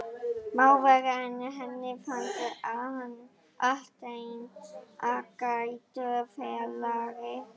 Má vera, en henni fannst hann allténd ágætur félagi.